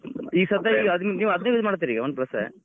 ಈ ಸದ್ದ್ ಈಗ ಅದನ್ use ಮಾಡತೀರಿ Oneplus .